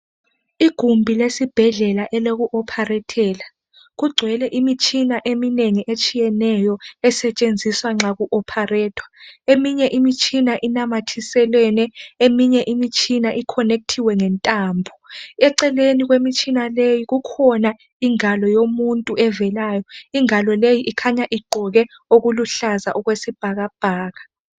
Igumbi lesibhedlela eloku opharethela , kugcwele imitshina eminengi etshiyeneyo esetshenziswa nxa ku opharethwa. Eminye imitshina inamathiselwene, eminye imitshina ikhonekithiwe ngentambo. Eceleni kwemitshina leyi kukhona ingalo yomuntu evelayo, ingalo leyi ikhanya iqgoke okuluhlaza okwesibhakabhaka.